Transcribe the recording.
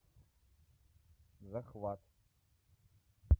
захват